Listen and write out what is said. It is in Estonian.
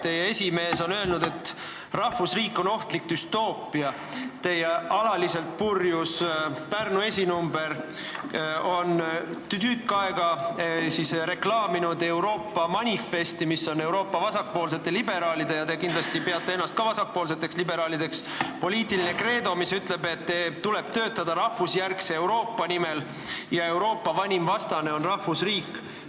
Teie esimees on öelnud, et rahvusriik on ohtlik düstoopia, teie alaliselt purjus Pärnumaa esinumber on tükk aega reklaaminud Euroopa manifesti, mis on Euroopa vasakpoolsete liberaalide – te kindlasti peate ka ennast vasakpoolseteks liberaalideks – poliitiline kreedo ja mis ütleb, et tuleb töötada rahvusjärgse Euroopa nimel ja Euroopa vanim vastane on rahvusriik.